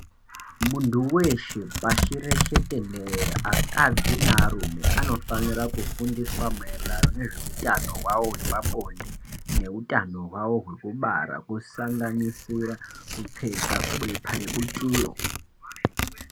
Muntu weshe pasireshe tenderere, akadzi nearume anofanire kufundiswa maererano nezveutano hwavo hwepabonde nehutano hwavo hwekubara kusanganisira kupfeka bepa rebutiro.